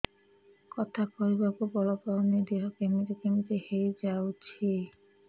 କଥା କହିବାକୁ ବଳ ପାଉନି ଦେହ କେମିତି କେମିତି ହେଇଯାଉଛି